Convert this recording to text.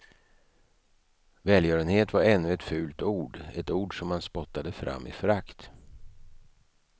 Välgörenhet var ännu ett fult ord, ett ord som man spottade fram i förakt.